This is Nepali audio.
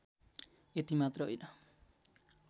यति मात्र होइन